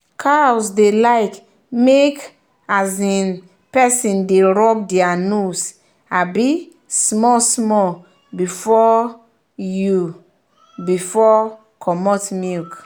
cows dey like make um person dey rub their nose um small small before you before you commot milk.